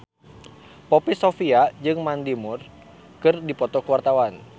Poppy Sovia jeung Mandy Moore keur dipoto ku wartawan